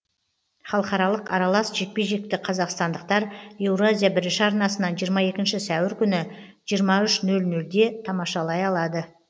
халықаралық аралас жекпе жекті қазақстандықтар еуразия бірінші арнасынан жиырма екінші сәуір күні жиырма үш нөл нөлде тамашалай алады